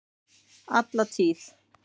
Alla tíð!